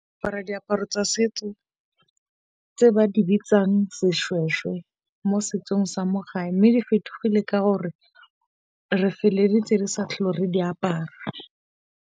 Apara diaparo tsa setso tse ba di bitsang seshweshwe mo setsong sa mo gae. Mme di fetogile ka gore re feleletse re sa tlhole re di apara.